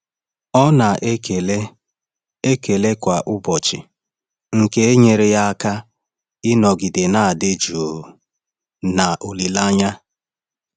Ọ na-ekele ekele kwa ụbọchị, nke nyere ya aka ịnọgide na-adị jụụ na olileanya.